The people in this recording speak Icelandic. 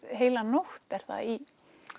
heila nótt er það í